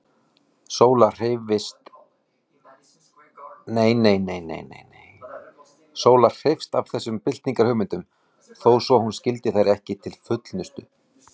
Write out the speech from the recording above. Sóla hreifst af þessum byltingarhugmyndum, þó svo hún skildi þær ekki til fullnustu.